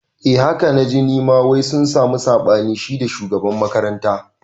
Eh haka naji nima wai sun sami saɓani shida shugaban makaranta